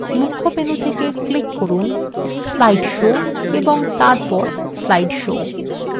মুখ্য menu থেকে click from slide show এবং তারপর slide show